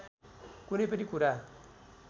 कुनै पनि कुरा